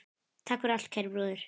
Takk fyrir allt, kæri bróðir.